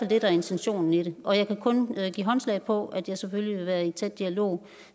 det der er intentionen i det og jeg kan kun give håndslag på at jeg selvfølgelig vil være i tæt dialog